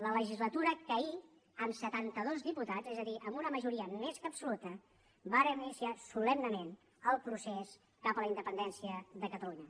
la legislatura que ahir amb setantados diputats és a dir amb una majoria més que absoluta vàrem iniciar solemnement el procés cap a la independència de catalunya